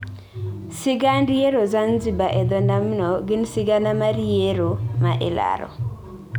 Sigand yiero Zanzibar e dho nambno gin sigana mar yiero ma ilaro.